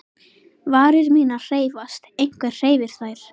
Varir mínar hreyfast, einhver hreyfir þær.